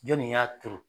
Jɔnni y'a turu